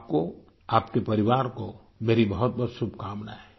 आपको आपके परिवार को मेरी बहुतबहुत शुभकामनाएँ